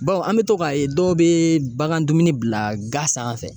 Bawo an be tɔ ka ye dɔw be bagan dumuni bila ga sanfɛ.